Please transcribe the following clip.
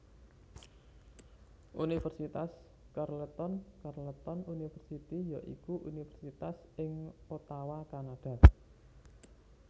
Universitas Carleton Carleton University ya iku universitas ing Ottawa Kanada